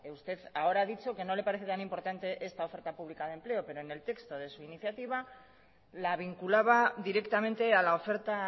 usted ahora a dicho que no le parece tan importante esta oferta pública de empleo pero en el texto de su iniciativa la vinculaba directamente a la oferta